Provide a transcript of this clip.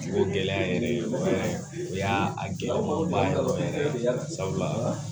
O gɛlɛya yɛrɛ ye o y'a gɛlɛyaba yɛrɛ yɛrɛ de ye sabula